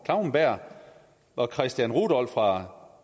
klauenberg og christian rudolph fra